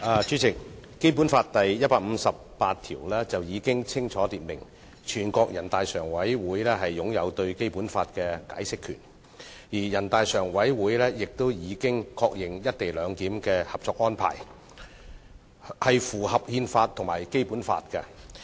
主席，《基本法》第一百五十八條已清楚訂明，全國人大常委會擁有對《基本法》的解釋權，而全國人大常委會亦已確認有關"一地兩檢"的《合作安排》符合《中華人民共和國憲法》和《基本法》。